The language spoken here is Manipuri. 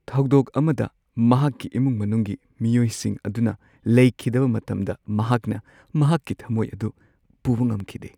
ꯊꯧꯗꯣꯛ ꯑꯃꯗ ꯃꯍꯥꯛꯀꯤ ꯏꯃꯨꯡ ꯃꯅꯨꯡꯒꯤ ꯃꯤꯑꯣꯏꯁꯤꯡ ꯑꯗꯨꯅ ꯂꯩꯈꯤꯗꯕ ꯃꯇꯝꯗ ꯃꯍꯥꯛꯅ ꯃꯍꯥꯛꯀꯤ ꯊꯝꯃꯣꯏ ꯑꯗꯨ ꯄꯨꯕ ꯉꯝꯈꯤꯗꯦ ꯫